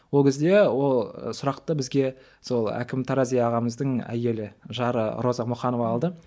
ол кезде ол сұрақты бізге сол әкім тарази ағамыздың әйелі жары роза мұқанова алды